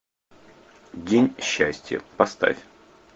день счастья поставь